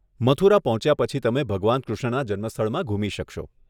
મથુરા પહોંચ્યા પછી તમે ભગવાન કૃષ્ણના જન્મસ્થળમાં ઘૂમી શકશો.